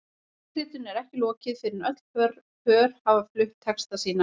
Leikritinu er ekki lokið fyrr en öll pör hafa flutt texta sína.